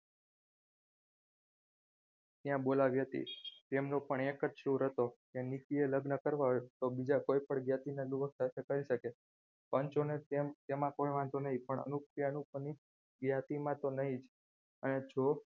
આવી હતી તેમનો પણ એક જ છોર હતો કે નીકી લગ્ન કરવા હોય તો બીજા કોઈ પણ જ્ઞાતિના દોસ્ત સાથે કરી શકે પંજો ને તેમાં કોઈ વાંધો નહીં પણ અનુપ ત્યાનું જ્ઞાતિમાં તો નહીં જ અને જો